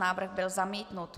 Návrh byl zamítnut.